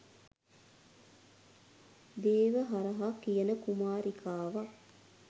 දේවහරහා කියන කුමාරිකාවක්.